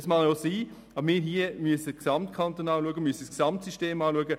Dies mag sein, aber wir im Grossen Rat müssen gesamtkantonal schauen und das Gesamtsystem betrachten.